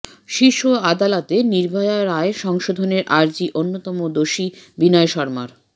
শীর্ষ আদালতে নির্ভয়া রায় সংশোধনের আর্জি অন্যতম দোষী বিনয় শর্মার